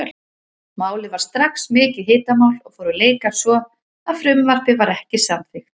Málið varð strax mikið hitamál og fóru leikar svo að frumvarpið var ekki samþykkt.